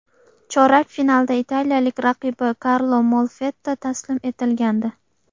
Chorak finalda italiyalik raqibi Karlo Molfetta taslim etilgandi.